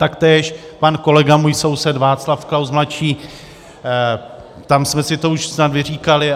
Taktéž pan kolega, můj soused Václav Klaus mladší, tam jsme si to už snad vyříkali.